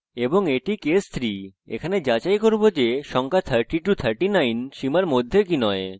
এবং এটি হল case 3 এখানে আমরা যাচাই করি যে সংখ্যা 3039 সীমার মধ্যে কি নয়